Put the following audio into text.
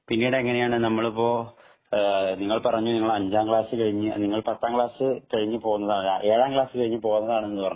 പിന്നീട് എങ്ങനെയാണ് നമ്മളിപ്പോൾ നിങ്ങൾ പറഞ്ഞു നിങ്ങൾ അഞ്ചാം ക്‌ളാസ് കഴിഞ്ഞു പത്താം ക്ലാസ് കഴിഞ്ഞു ഏഴാം ക്ലാസ് കഴിഞ്ഞു പോന്നതാണ് എന്ന് പറഞ്ഞു